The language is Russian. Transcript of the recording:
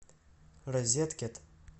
розеткед